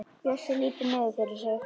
Bjössi lítur niður fyrir sig.